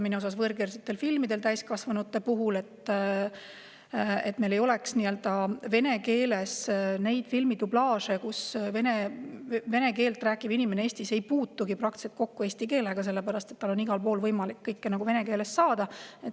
Meil ei täiskasvanute puhul vene keeles filmidublaaže, nii et vene keelt rääkiv inimene Eestis ei puutugi eesti keelega praktiliselt kokku, sellepärast et tal on igal pool võimalik kõike vene keeles saada.